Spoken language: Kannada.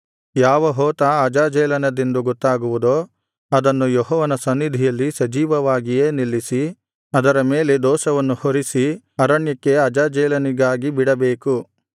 ಯಾವ ಹೋತ ಅಜಾಜೇಲನದೆಂದು ಗೊತ್ತಾಗುವುದೋ ಅದನ್ನು ಯೆಹೋವನ ಸನ್ನಿಧಿಯಲ್ಲಿ ಸಜೀವವಾಗಿಯೇ ನಿಲ್ಲಿಸಿ ಅದರ ಮೇಲೆ ದೋಷವನ್ನು ಹೊರಿಸಿ ಅರಣ್ಯಕ್ಕೆ ಅಜಾಜೇಲನಿಗಾಗಿ ಬಿಡಬೇಕು